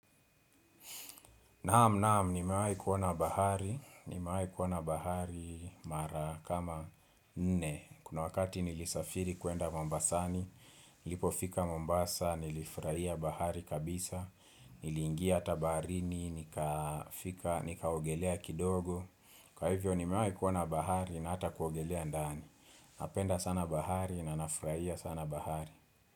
Naam naam ni mewahi kuona bahari, ni mewahi kuona bahari mara kama nne Kuna wakati nilisafiri kwenda Mombasani, nilipo fika Mombasa, nilifurahia bahari kabisa Nilingia hata baharini, nika fika, nikaogelea kidogo Kwa hivyo ni mewahi kuona bahari na hata kuogelea ndani Napenda sana bahari na nafurahia sana bahari.